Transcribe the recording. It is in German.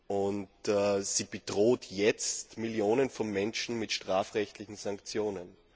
Und sie bedroht jetzt Millionen von Menschen mit strafrechtlichen Sanktionen.